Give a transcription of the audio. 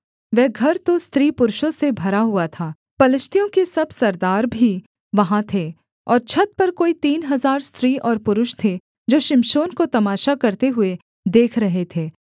वह घर तो स्त्री पुरुषों से भरा हुआ था पलिश्तियों के सब सरदार भी वहाँ थे और छत पर कोई तीन हजार स्त्री और पुरुष थे जो शिमशोन को तमाशा करते हुए देख रहे थे